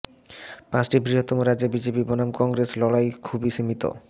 পাঁচটি বৃহত্তম রাজ্যে বিজেপি বনাম কংগ্রেস লড়াই খুবই সীমিত